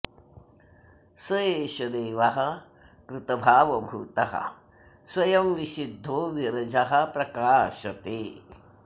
स एष देवः कृतभावभूतः स्वयं विशुद्धो विरजः प्रकाशते